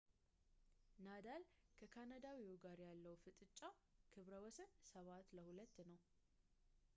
ናዳል ከካናዳዊው ጋር ያለው የፍጥጫ ክብረ ወሰን 7-2 ነው